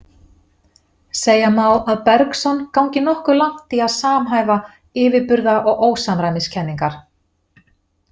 Segja má að Bergson gangi nokkuð langt í að samhæfa yfirburða- og ósamræmiskenningar.